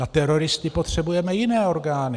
Na teroristy potřebujeme jiné orgány.